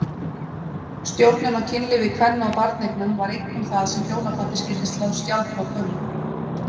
Stjórnun á kynlífi kvenna og barneignum var einkum það sem hjónabandið skyldi slá skjaldborg um.